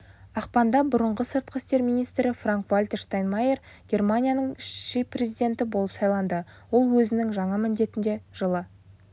ақпанда бұрынғы сыртқы істер министрі франк-вальтер штайнмайер германияның шіпрезиденті болып сайланды ол өзінің жаңа міндетіне жылы